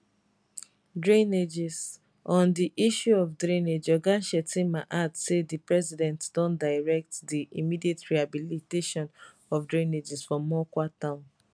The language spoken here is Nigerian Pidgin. drainageson di issue of drainage oga shettima add say di president don direct di immediate rehabilitation of drainages for mokwa town